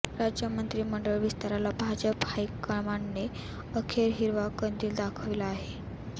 राज्य मंत्रिमंडळ विस्ताराला भाजप हायकमांडने अखेर हिरवा कंदील दाखविला आहे